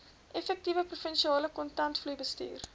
effektiewe provinsiale kontantvloeibestuur